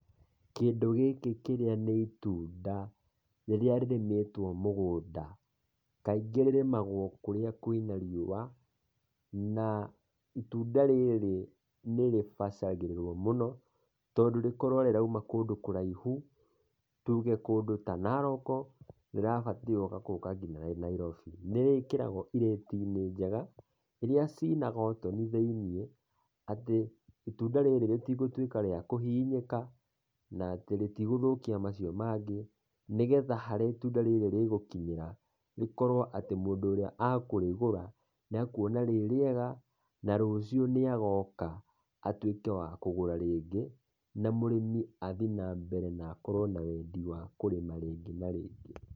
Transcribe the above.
Kĩndũ gĩkĩ kĩrĩa nĩ itunda, rĩrĩa rĩrĩmĩtwo mũgũnda, kaingĩ rĩrĩmagwo kũrĩa kwĩna riũa, na itunda rĩrĩ nĩrĩbacagĩrĩrwo mũno, tondũ rĩkorwo rĩrauma kũndũ kũraihu, tuge kũndũ ta Naroko, rĩrabatarwo gũka nginya Nairobi. Nĩrĩkĩragwo irĩti-inĩ njega, iria cina gotoni thĩiniĩ, atĩ itunda rĩrĩ rĩtigũtuĩka rĩa kũhihinyĩka, na rĩtigũthũkia macio mangĩ, nĩgetha harĩa itunda rĩrĩ rĩgũkinyĩra, rĩkorwo atĩ mũndũ ũrĩa akũrĩgũra, nĩekuona rĩrĩega, na rũciũ nĩagoka atuĩke wa kũgũra rĩngĩ, na mũrĩmi athiĩ na mbere na akorwo na wendi wa kũrĩma rĩngĩ na rĩngĩ.